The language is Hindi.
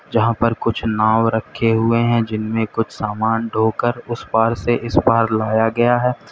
यहां पर कुछ नाव रखे हुए हैं जिनमें कुछ सामान ढोकर उस पार से इस पार लाया गया है।